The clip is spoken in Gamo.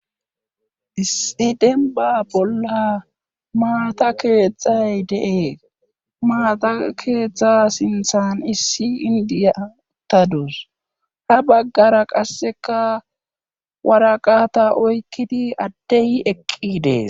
issi denba bolla maata keetxay de7es maata keetztha sinthan issi indiyatadus ha baggara qasseka waraqata oykkidi adde yi eqqi dees